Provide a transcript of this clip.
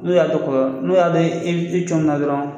N'u y'a dɔn n'u y'a dɔn e e cɔnmina dɔrɔn.